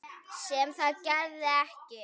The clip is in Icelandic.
Sem það gerði ekki.